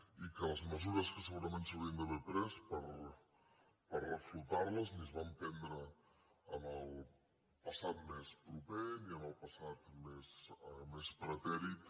i que les mesures que segurament s’haurien d’haver pres per reflotar les ni es van prendre en el passat mes proper ni en el passat més pretèrit